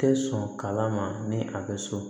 Tɛ sɔn kala ma ni a bɛ so